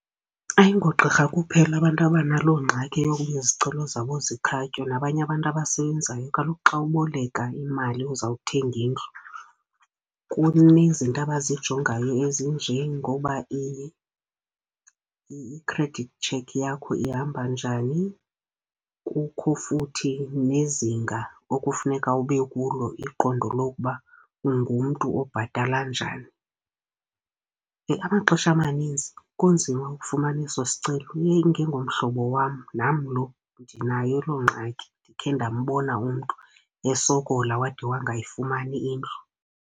Ayingogqirha kuphela abantu abanaloo ngxaki yokuba izicelo zabo zikhatywe, nabanye abantu abasebenzayo. Kaloku xa uboleka imali uzawuthenga indlu kunezinto abazijongayo ezinjengoba i-credit check yakho ihamba njani, kukho futhi nezinga okufuneka ube kulo, iqondo lokuba ungumntu obhatala njani. Amaxesha amaninzi kunzima ukufumana eso sicelo, iye ingengomhlobo wam nam lo, ndinayo loo ngxaki. Ndikhe ndambona umntu esokola wade wangayifumani indlu.